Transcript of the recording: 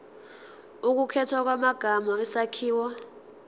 ukukhethwa kwamagama isakhiwo